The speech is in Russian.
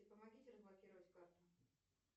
помогите разблокировать карту